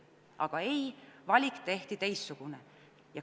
Aga ei, valik tehti teistsugune.